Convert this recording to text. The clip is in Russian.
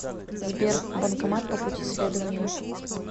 сбер банкомат по пути следования